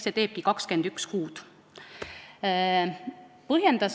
See teebki 21 kuud.